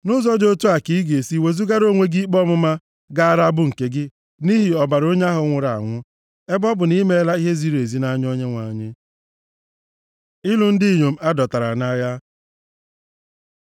Nʼụzọ dị otu a, ka ị ga-esi wezugara onwe gị ikpe ọmụma gaara abụ nke gị nʼihi ọbara onye ahụ nwụrụ anwụ, ebe ọ bụ na i meela ihe ziri ezi nʼanya Onyenwe anyị. Ịlụ ndị inyom a dọtara nʼagha